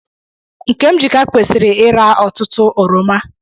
Nkemjika kwesiri ira otutu oroma.